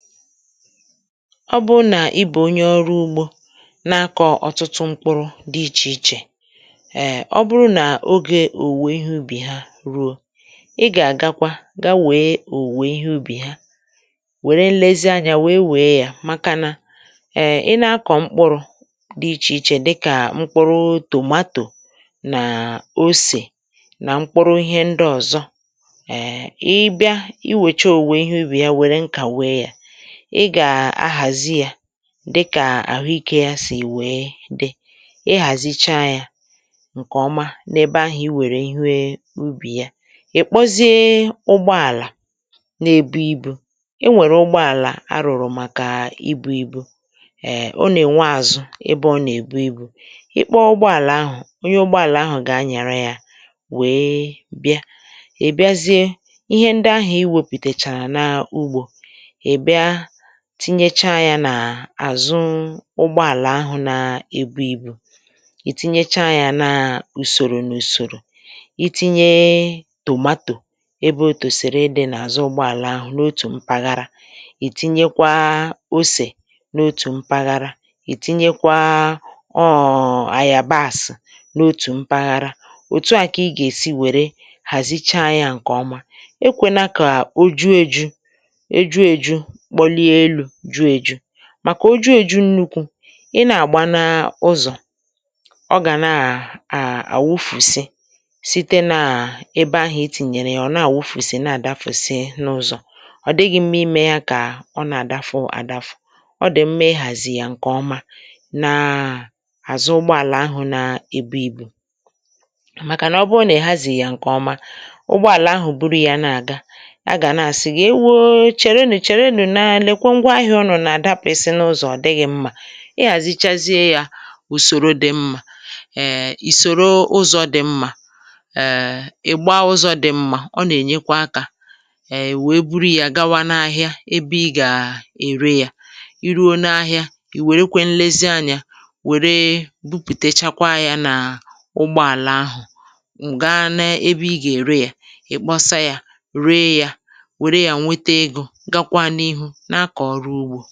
ọ bụrụ nà i bè onye ọrụ ugbȯ na-akọ̀ ọtụtụ mkpụrụ̇ dị̇ ichè ichè, ẹ̀ ọ bụrụ nà ogè òwùwè ihe ubì ha ruo, ị gà-àga kwa, ga wee òwùwè ihe ubì ha, wère nlezianyȧ wee wèe ya màkànà ẹ, i na-akọ̀ mkpụrụ̇ dị ichè ichè, dịkà mkpụrụ tòmatò nà osè nà mkpụrụ ihe ndị ọ̀zọ. ẹ̀, ị bịa, i wècha òwùwè ihe ubì ya, were nkà wee yȧ, ị gà-ahàzi ya dịkà àhụikė ya sì wèe dị, ị hàzicha yȧ ǹkèọma. n’ebe ahụ̀, i wèrè ihe ubì ya, ị̀ kpọzie ụgbọàlà nà-ebu ibu̇. e nwèrè ụgbọàlà arụ̀rụ̀ màkà ibu̇ ibu. ɛ̀, o nà-ènwe àzụ ebe ọ nà-èbu ibu̇. ị kpọọ ụgbọàlà ahụ̀, onye ụgbọàlà ahụ̀ gà-anyàra ya wee bịa. ì bịazie ihe ndị ahụ̀ i wėpùtèchàrà n’ugbȯ, tinyecha yȧ nà-àzụ ụgbọàlà ahụ̀ nà-ebu ibu̇. ì tinyecha yȧ nà ùsòrò n’ùsòrò: itinye tòmatò ebe otùsèrè idi̇ n’àzụ ụgbọàlà ahụ̀ n’otù mpaghara, ì tinyekwa osè n’otù mpaghara, ì tinyekwa ọọ̀ àyà basị n’otù mpaghara. òtu à kà ị gà-èsi wère hàzicha yȧ ǹkè ọma. ekwėna kà o ju eju̇, màkà o ju èju nnukwu, ị nà-àgba n’ụzọ̀, ọ gà nà-à àwụfùsi site nà ebe ahụ̀ etìnyèrè ya. ọ̀ nà-àwụfùsi, na-àdafùsi n’ụzọ̀, ọ̀ dịghị̇ mmȧ. imė ya kà ọ nà-àdafu àdafu, ọ dị̀ mmȧ mmȧ zì yà ǹkè ọma, na àzụ ụgbọàlà ahụ̀ na-ebu ìbù, màkà nà ọ bụọ nà-èhazi yȧ ǹkè ọma. ụgbọàlà ahụ̀ bụrụ ya nà-àga, a gà na-àsị̀ gà, e wee chèrenù ǹkwọ ngwaahịa. ọ nọ̀ nà àdapụ̀ esi n’ụzọ̀, ọ dịghị̇ mmȧ. ị gà àzichazie yȧ ùsòro dị mmȧ, èè, ì sòro ụzọ̇ dị mmȧ, èè, ị̀ gbaa ụzọ̇ dị mmȧ. ọ nà ènyekwa akȧ, èè, wèe buru yȧ gawa n’ahịa ebe ị gà ère yȧ. i ruo n’ahịa, ì wèrekwe nlezianyȧ, wère bupùtechakwa yȧ nà ụgbọ àla ahụ̀, ǹga n’ebe ị gà ère yȧ. ị̀ kpọsa yȧ, ree yȧ, wère yȧ, nwete ego, gakwa n’ihu.